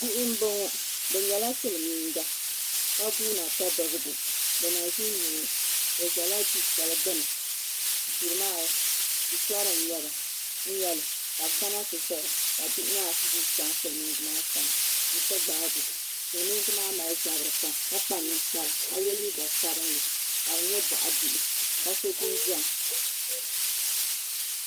Bihi n bɔŋɔ bi nyɛla silmiinga ka guuna ti bibgo bi na ʒin nyɛo o ʒɛla du shɛli gbuni duri maa shitɔri n nyɛli ka bi kana ti ʒɛya ka bihi maa guui chɛŋ silmiingi maa sani n ti gbaago silmiingi maa mali zabiri pam ka kpa ninkpara ka yɛ liiga sabinli ka dinyɛ boɣa bihi ka so jinjɛm